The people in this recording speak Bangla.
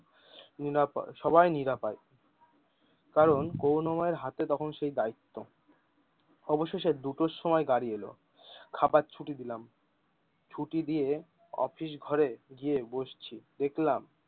নিরাপয় সবাই নিরাপয় কারণ করুনাময় এর হাতে তখন সেই দায়িত্ব। অবশেষে দুটোর সময় গাড়ি এল, খাবার ছুটি দিলাম ছুটি দিয়ে অফিস ঘরে গিয়ে বসছি। দেখলাম,